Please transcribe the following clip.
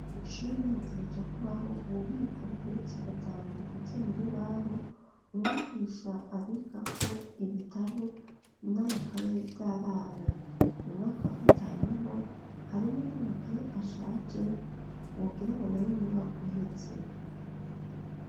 Ishure hategetse kubaho ububiko bugeretse gatanu bukoze mu rubaho umwugisha abika ko ibitabo n'amakaye vy'abana mu mwaka wa gatanuho harimo ntamakaye ashaje wogerango na yo mu mwaka uhetse.